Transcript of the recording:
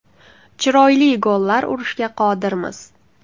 Chiroyli gollar urishga qodirmiz.